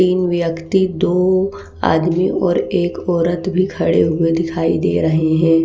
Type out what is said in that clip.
तीन व्यक्ति दो आदमी और एक औरत भी खड़े हुए दिखाई दे रहे हैं।